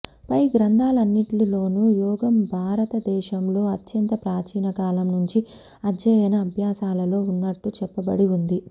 పై గ్రంధాలన్నిట్లోనూ యోగం భారత దేశాంలో అత్యంత ప్రాచీన కాలం నుంచి అధ్యయన అభ్యాసాలలో ఉన్నట్లు చెప్పబడి ఉంది